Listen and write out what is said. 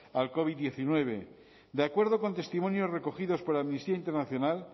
al covid hemeretzi de acuerdo con testimonios recogidos por amnistía internacional